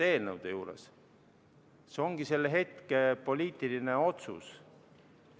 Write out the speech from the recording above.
Otsus ongi selle hetke poliitiline otsus.